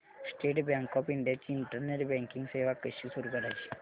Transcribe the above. state Bank of India ची internet banking सेवा कशी सुरू करायची